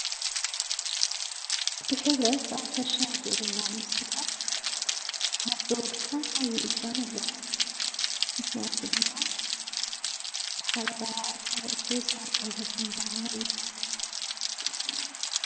ብህብረት ኣብ ሕርሻን ግብርናን ምስትታፍ ካብ ብወልቃ ኣብይይ እጃም ኣለዋ ምትንያቱ ድማ ዘዝሃበራያ ኣፃብዕቲስ ዓርቃይ የፀንብዓ እዮ።